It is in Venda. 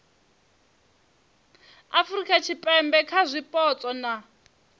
afurika tshipembe kha zwipotso na